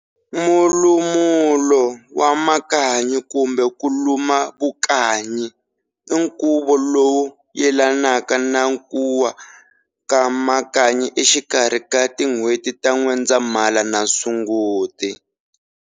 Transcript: Mulumulo wa makanyi kumbe ku luma vukanyi inkuvo lowu yelanaka na kuwa ka makanyi exikarhi ka tin'wheti ta N'wendzamhala na Sunguti.